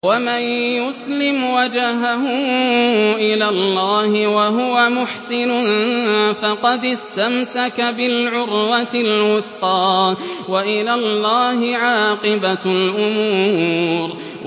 ۞ وَمَن يُسْلِمْ وَجْهَهُ إِلَى اللَّهِ وَهُوَ مُحْسِنٌ فَقَدِ اسْتَمْسَكَ بِالْعُرْوَةِ الْوُثْقَىٰ ۗ وَإِلَى اللَّهِ عَاقِبَةُ الْأُمُورِ